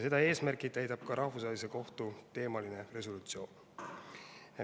Seda eesmärki täidab ka resolutsioon Rahvusvahelise Kohtu teemal.